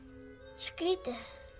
skrítið